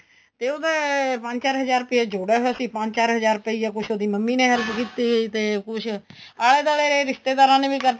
ਤੇ ਉਹਦਾ ਪੰਜ ਚਾਰ ਹਜਾਰ ਪਿਆ ਜੋੜਿਆ ਹੋਇਆ ਸੀ ਪੰਜ ਚਾਰ ਹਜਾਰ ਪਿਆ ਕੁੱਝ ਉਹਦੀ ਮੰਮੀ ਨੇ help ਕੀਤੀ ਤੇ ਕੁੱਝ ਆਲੇ ਦੁਆਲੇ ਦੇ ਰਿਸ਼ਤੇਦਾਰਾ ਨੇ ਵੀ ਕਰਤੀ